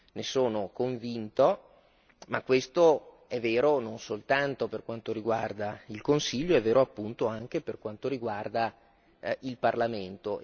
ne sono convinto, ma questo è vero non soltanto per quanto riguarda il Consiglio, è vero appunto anche per quanto riguarda il Parlamento.